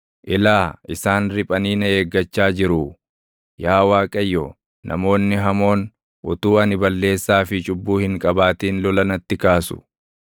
Ilaa, isaan riphanii na eeggachaa jiruu! Yaa Waaqayyo, namoonni hamoon, utuu ani balleessaa fi cubbuu hin qabaatin lola natti kaasu.